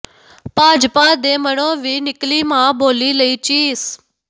ਭਾਜਪਾ ਦੇ ਮਨੋਂ ਵੀ ਨਿਕਲੀ ਮਾਂ ਬੋਲੀ ਲਈ ਚੀਸ